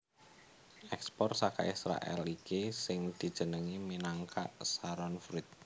Ekspor saka Israèl iki sing dijenengi minangka Sharon fruit